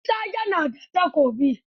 Isa ya na da Takobi.